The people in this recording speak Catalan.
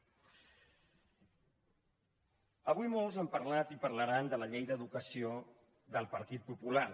avui molts han parlat i parlaran de la llei d’educació del partit popular